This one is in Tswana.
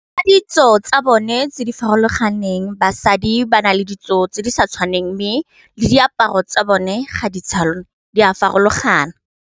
Ka ditso tsa bone tse di farologaneng basadi ba na le ditso tse di sa tshwaneng, mme le diaparo tsa bone ga di tshwane di a farologana.